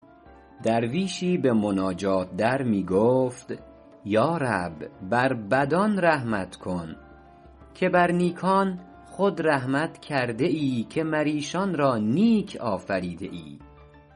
درویشی به مناجات در می گفت یا رب بر بدان رحمت کن که بر نیکان خود رحمت کرده ای که مر ایشان را نیک آفریده ای